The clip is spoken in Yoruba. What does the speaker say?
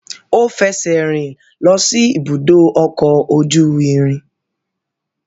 Ó fẹsẹ̀rìn lọ sí ibùdó ọkọ̀ ojú irin.